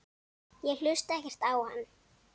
Ég hlusta ekkert á hann.